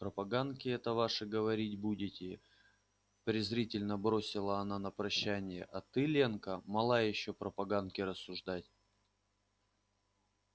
про поганки эти ваши говорить будете презрительно бросила она на прощание а ты ленка мала ещё про поганки рассуждать